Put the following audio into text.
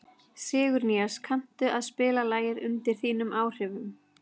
Sigurnýas, kanntu að spila lagið „Undir þínum áhrifum“?